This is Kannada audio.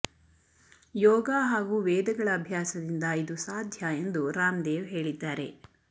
ಯೋಗ ಹಾಗೂ ವೇದಗಳ ಅಭ್ಯಾಸದಿಂದ ಇದು ಸಾಧ್ಯ ಎಂದು ರಾಮ್ದೇವ್ ಹೇಳಿದ್ದಾರೆ